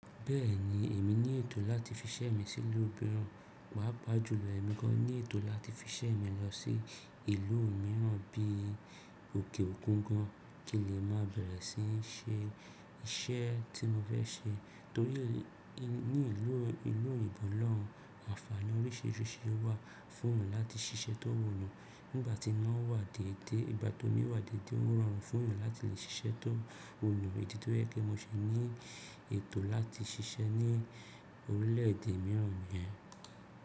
Bẹ́ẹ̀ni, èmi ní ètò láti fi iṣẹ́ mi sí ìlú mìíràn, pàá pa jùlọ èmi gan ní ètò láti fi iṣẹ́ mi lọ sí ìlú mìíràn bí i òkè òkun gan, kí n lè má bẹ̀rẹ̀ sí ṣe iṣẹ́ tí mo fẹ́ ṣe torí ní ìlú oyinbo loun àǹfààní oríṣiríṣi ló wà fún mi láti ṣiṣẹ́ tó wò lọ nígbà tí ino wà dédé. Nígbà tí mo wà dédé ó rọrùn fún mi láti lè ṣiṣẹ́ tó wù mí, èyí ni tó jẹ́ kí mo ṣe ní ètò láti ṣiṣẹ́ ní orílẹ̀ èdè mìíràn nìyẹn.